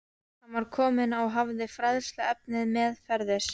Hann var kominn og hafði fræðsluefnið meðferðis.